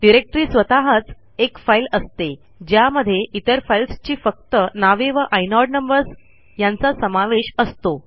directory स्वतःच एक file असते ज्यामध्ये इतर फाईल्सची फक्त नावे व आयनोड नंबर्स यांचा समावेश असतो